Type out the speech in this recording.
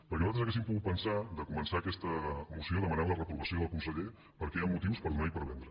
perquè nosaltres haguéssim pogut pensar de començar aquesta moció demanant la reprovació del conseller perquè hi han motius per donar i per vendre